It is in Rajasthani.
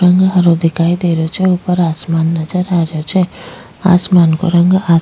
रंग हरो दिखाई दे रहियो छे ऊपर आसमान नजर आ रहियो छे आसमान को रंग --